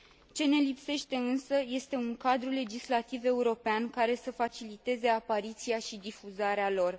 Ce ne lipsește însă este un cadru legislativ european, care să faciliteze apariția și difuzarea lor.